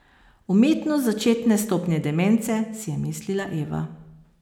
Umetnost začetne stopnje demence, si je mislila Eva.